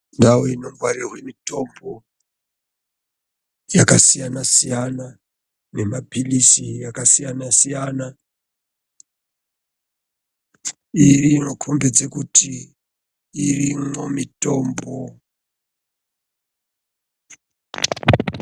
Ndau inongwarirwa mitombo yakasiyana-siyana, nemapalizi akasiyana-siyana, inokombedza kuti irimwo mitombo.